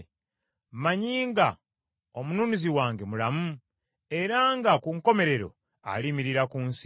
Mmanyi nga Omununuzi wange mulamu, era nga ku nkomerero aliyimirira ku nsi.